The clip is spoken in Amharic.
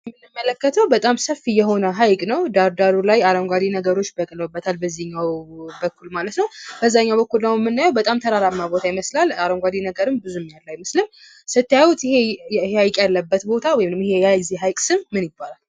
የምንመለከተው በጣም ሰፊ የሆነ ሀይቅን ነው። ዳር ዳሩ አረንጓዴ ነገሮች በቅለውበታል በዚህኛው በኩል በዛኘው በኩል ደግሞ የምናየው በጣም ተራራ ይመስላል ብዙ አረንጓዴ ነገር ያለው አይመስልም ስታዩት ይህ ሀይቅ ያለበት ቦታ ወይም የሀይቁ ስም ማን ይባላል?